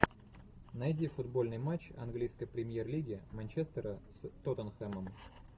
найди футбольный матч английской премьер лиги манчестера с тоттенхэмом